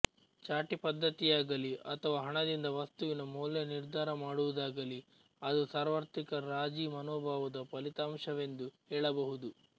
ಚಾಟಿ ಪದ್ಧತಿಯಾಗಲಿ ಅಥವಾ ಹಣದಿಂದ ವಸ್ತುವಿನ ಮೌಲ್ಯ ನಿರ್ಧಾರ ಮಾಡುವುದಾಗಲಿ ಅದು ಸಾರ್ವತ್ರಿಕ ರಾಜೀ ಮನೋಭಾವದ ಫಲಿತಾಂಶವೆಂದು ಹೇಳಬಹುದು